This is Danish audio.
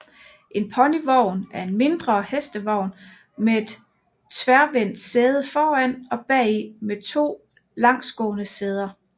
En ponyvogn er en mindre hestevogn med et tværvendt sæde foran og bagi med to langsgående sæder